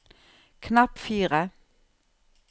knapp fire